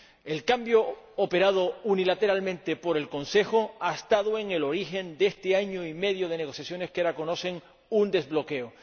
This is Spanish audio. El cambio operado unilateralmente por el Consejo ha estado en el origen de este año y medio de negociaciones que ahora conocen un desbloqueo.